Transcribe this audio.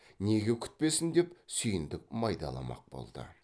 неге күтпесін деп сүйіндік майдаламақ болды